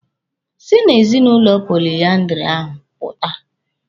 Si na ezinụlọ poliandiri ahụ pụta!